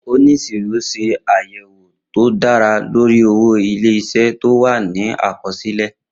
Oníṣirọ ṣe àyẹ̀wò tó dára lórí owó ilé-isé tí ó wà ní àkọsílẹ̀